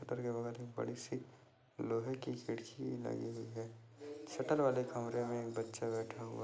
Shutter के बगल में एक बड़ी सी लोहे की खिड़की लगी हुई है शटर वाले कमरे में एक बच्चा बैठा हुआ है।